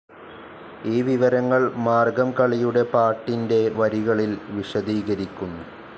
ഈ വിവരങ്ങൾ മാർഗ്ഗംകളിയുടെ പാട്ടിൻറെ വരികളിൽ വിശദീകരിക്കുന്നു.